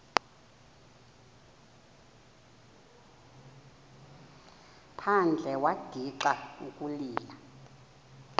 phandle wagixa ukulila